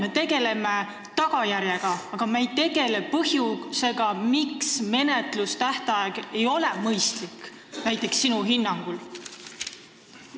Me tegeleme tagajärjega, aga me ei tegele põhjusega, miks menetlustähtaeg ei ole näiteks sinu hinnangul mõistlik.